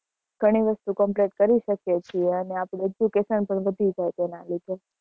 પણ એ વસ્તુ complete કરી શકીએ છીએ અને આપડુ education પણ વધી જાય તેના લીધે